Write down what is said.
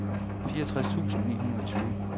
fireogtres tusind ni hundrede og tyve